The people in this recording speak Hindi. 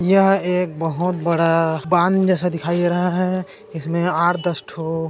यह एक बहोत बड़ा बाँद जेसा दिखाई दे रहा है इसमे आठ दस ठो --